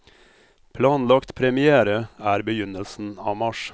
Planlagt première er begynnelsen av mars.